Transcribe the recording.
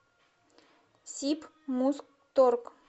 сибмузторг